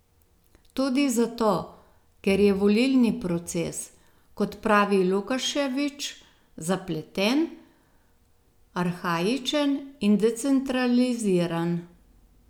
Tudi zato, ker je volilni proces, kot pravi Lukaševič, zapleten, arhaičen in decentraliziran.